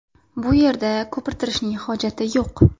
Bu yerda ko‘pirtirishning hojati yo‘q.